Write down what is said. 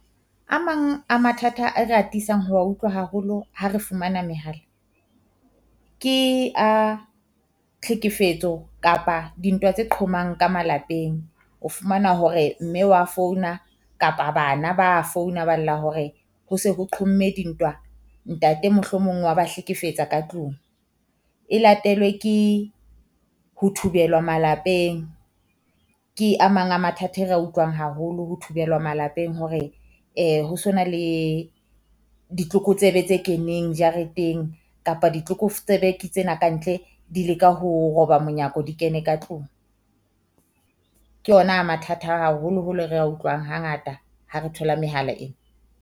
A mang a mathata a re atisang ho wa utlwa haholo ha re fumana mehala, ke a tlhekefetso kapa dintwa tse qhomang ka malapeng. O fumana hore mme wa founa kapa bana ba founa ba lla hore ho se ho qhomme dintwa. Ntate mohlomong wa ba hlekefetsa ka tlung. E latelwe ke ho thubelwa malapeng ke a mang a mathata ere a utlwang haholo ho thubelwa malapeng hore, ho so na le ditlokotsebe tse keneng jareteng kapa ditlokoftsebe ke tsena ka ntle di leka ho roba monyako, di kene ka tlung. Ke yona a mathata a haholoholo re a utlwang hangata ha re thola mehala ena.